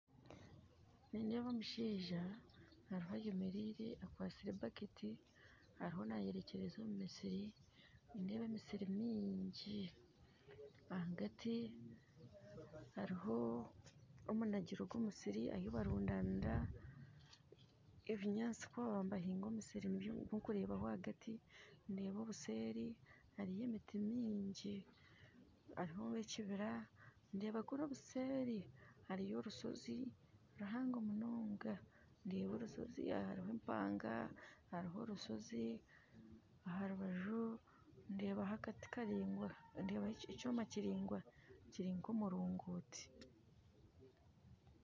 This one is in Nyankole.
Nindeeba omushaija ariho ayemereire akwatsire ebaketi ariho nayerekyereza omu misiri, nindeeba emisiri mingi, ahagati hariho omunagiro gw'omusiri ahu barundanira ebinyaasi kubakuba nibahinga omusiri nigwo ndikureebaho ahagati ndeeba obuseeri hariyo emiti mingi hariho ekibira ndeeba kuri obuseeri hariyo orushozi ruhango munonga ndeeba orushozi ahariho empanga hariho orushozi aha rubaju ndeebaho akati karaingwa, ndeebaho ekyoma kiraingwa kiri nk'omurongoti.